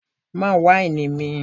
Má wáìnì mi!